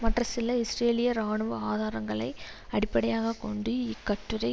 மற்ற சில இஸ்ரேலிய இராணுவ ஆதாரங்களை அடிப்படையாக கொண்டு இக்கட்டுரை